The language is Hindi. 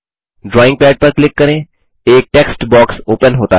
ड्राइंग पद पर क्लिक करें एक टेक्स्ट बॉक्स ओपन होता है